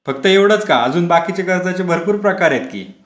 फक्त एवढंच का अजून बाकीचे कर्जाचे भरपूर प्रकार आहेत कि.